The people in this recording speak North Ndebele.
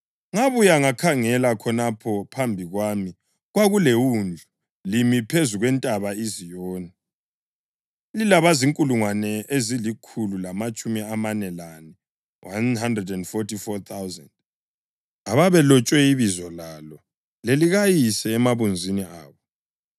Ngabuya ngakhangela, khonapho phambi kwami kwakuleWundlu, limi phezu kweNtaba iZiyoni, lilabazinkulungwane ezilikhulu lamatshumi amane lane (144,000) ababelotshwe ibizo lalo lelikaYise emabunzini abo.